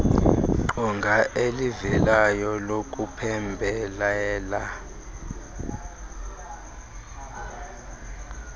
qonga elivelayo lokuphembelela